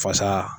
Fasa